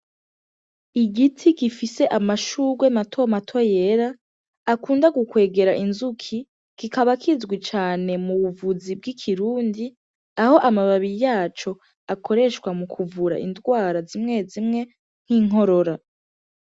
Igiti gifise amashurwe mato mato yera akunda gukwega inzuki, kikaba kizwi cane m'ubuvuzi bw'ikirundi aho amababi yaco akoreshwa mukuvura indwara zimwe zimwe nk'inkorora.